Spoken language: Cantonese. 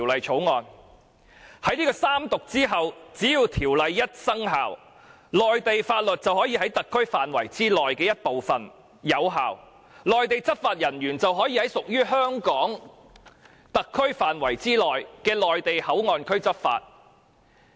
在三讀後，只要《條例草案》生效，內地法律便可以在特區範圍內的一部分有效，讓內地執法人員在屬於香港特區範圍內的內地口岸區執法。